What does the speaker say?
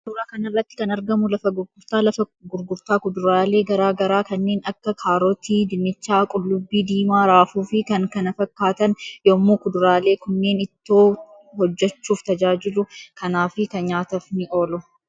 Suuraa kanarratti kan argamu lafa gurgurtaa lafa gurgurtaa kuduraalee garaa garaa kanneen Akka kaarotii, dinnichaa, qullubbii diimaa, raafuu fi kan kan fakkaatan yommuu kuduraalee kunneen ittoo hojjechuuf tajaajilu kanaafi nyaataf ni oolu.